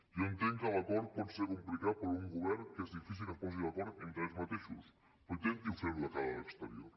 jo entenc que l’acord pot ser complicat per un govern que és difícil que es posi d’acord entre ells mateixos però intenti fer ho de cara a l’exterior